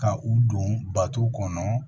Ka u don bato kɔnɔ